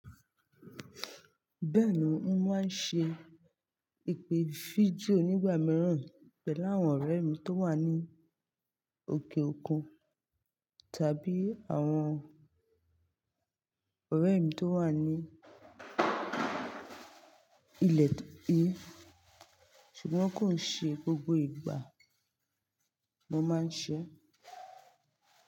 Bẹ́ẹ̀ni, mo máa ń ṣe ìpè fídíò nígbà mìíràn pẹ̀lú àwọn ọ̀rẹ́ mi tó wà ní òkè òkun tàbí àwọn ọ̀rẹ́ mi tó wà ní ilẹ̀ yìí, ṣùgbọ́n kò ṣe gbogbo ìgbà mo máa ń ṣe é.